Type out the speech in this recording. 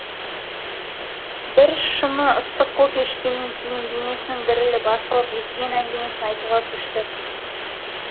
біршыны ыстық кофе ішкеннен кейін денесінің дірілі басылып естіген әңгімесін айтуға көшті